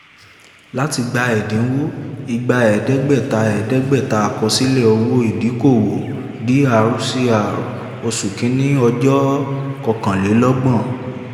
láti gba ẹ̀dínwó a/c igba ẹ̀ẹ́dẹ́gbẹ̀ta ẹ̀ẹ́dẹ́gbẹ̀ta àkọsílẹ̀ owó ìdókòwò dr cr oṣù kìíní ọjọ́ kọkànlélọ́gbọ̀n